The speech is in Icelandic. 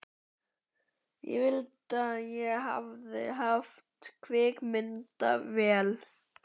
Ég vildi að ég hefði haft kvikmyndatökuvél.